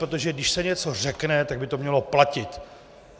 Protože když se něco řekne, tak by to mělo platit.